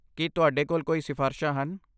ਕੀ ਤੁਹਾਡੇ ਕੋਲ ਕੋਈ ਸਿਫ਼ਾਰਸ਼ਾਂ ਹਨ?